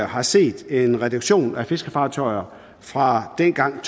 har set en reduktion af fiskefartøjer fra dengang